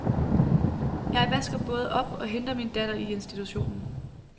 Jeg vasker både op og henter min datter i institution.